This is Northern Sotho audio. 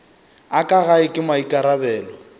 a ka gae ke maikarabelo